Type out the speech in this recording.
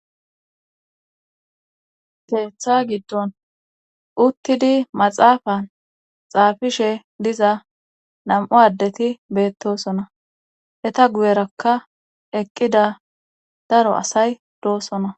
keeththa giddon uttidi maxaafan xaafishe diza nam7u addeti beettosona heta guyerakka eqqida daro asay doosona